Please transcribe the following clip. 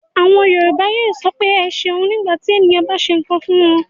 Àwọn Yorùbá yóò sọ pé "ẹ ṣeun" nígbà tí ènìyàn bá ṣe nǹkan fún wọn.